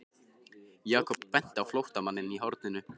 Jakob benti á flóttamanninn í horninu.